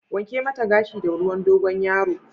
Wanke mata gashinta da ruwan Dogon yaro!